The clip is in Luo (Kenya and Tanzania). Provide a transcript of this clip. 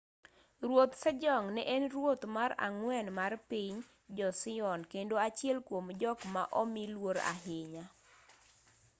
ruoth sejong ne en ruoth mar ang'wen mar piny joseon kendo achiel kuom jok ma omi luor ahinya